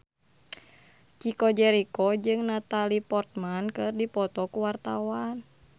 Chico Jericho jeung Natalie Portman keur dipoto ku wartawan